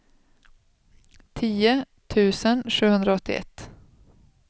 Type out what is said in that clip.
tio tusen sjuhundraåttioett